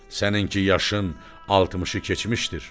Səninki yaşın 60-ı keçmişdir.